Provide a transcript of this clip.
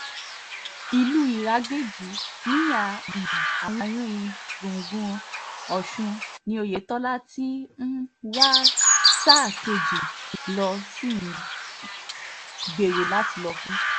ìlú iragbéjì níhà um àárín-gbùngbùn ọ̀sùn ni oyetola ti um wá sáà kejì ló sì ń gbèrò láti lò fún